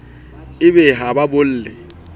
e be ha ba bolle